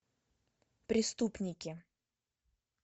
преступники